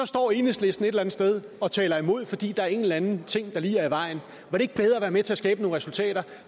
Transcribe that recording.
står enhedslisten et eller andet sted og taler imod fordi der er en eller anden ting der lige er i vejen var det ikke bedre at være med til at skabe nogle resultater